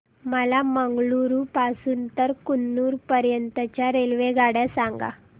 मला मंगळुरू पासून तर कन्नूर पर्यंतच्या रेल्वेगाड्या सांगा